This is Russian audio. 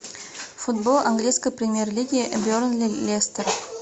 футбол английской премьер лиги бернли лестер